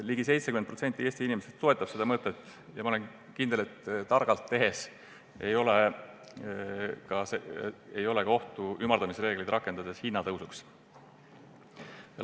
Ligi 70% Eesti inimestest toetab seda mõtet ja ma olen kindel, et targalt tegutsedes ei ole ümardamisreegleid rakendades ka hinnatõusu ohtu.